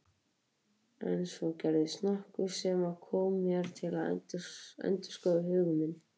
En svo gerðist nokkuð sem kom mér til að endurskoða hug minn.